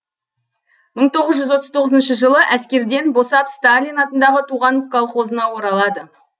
мың тоғыз жүз отыз тоғызыншы жылы әскерден босап сталин атындағы туған колхозына оралады